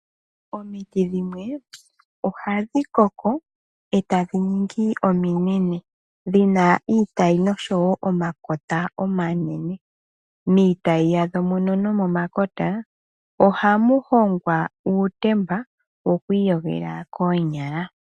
Omiiti dhimwe ohadhikoko etadhi ningi ominene ,dhina iitayi noshowo omakota omanene .Miitayi yadho muno nomomakota ohamu hongwa uutemba wokwiiyogela koonyala .